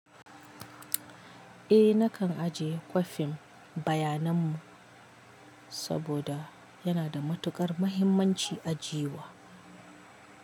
Eh nakan ajiye kwafin bayanan mu saboda yana da matukar muhimmanci ajiye wa.